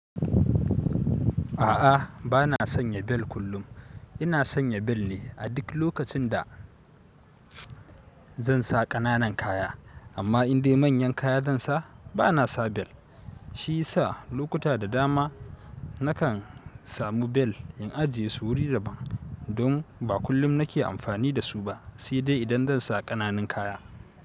A'a ba na sanya bel kullum. Ina sanya bel ne a duk lokacin da zan sa ƙananan kaya, amma in dai manyan kaya zan sa, ba na sa bel. Shi sa lokuta da dama nakan samu bel in ajiye su wuri daban don ba kullum na ke amfani da su ba, sai dai idan zan sa ƙananun kaya.